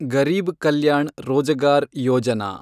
Garib Kalyan Rojgar Yojana